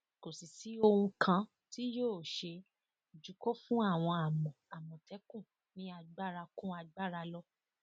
kò sì sí ohun kan tí yóò ṣe ju kó fún àwọn àmọ àmọtẹkùn ní agbára kún agbára lọ